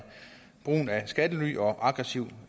brugen af skattely og aggressiv